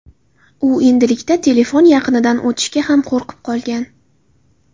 U endilikda telefon yaqinidan o‘tishga ham qo‘rqib qolgan.